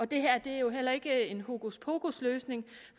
det her er jo heller ikke en hokuspokusløsning